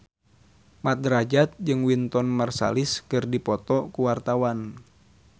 Mat Drajat jeung Wynton Marsalis keur dipoto ku wartawan